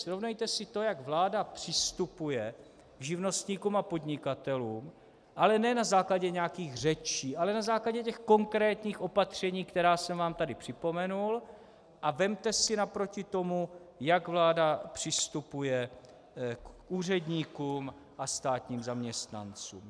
Srovnejte si to, jak vláda přistupuje k živnostníkům a podnikatelům, ale ne na základě nějakých řečí, ale na základě těch konkrétních opatření, která jsem vám tady připomenul, a vezměte si naproti tomu, jak vláda přistupuje k úředníkům a státním zaměstnancům.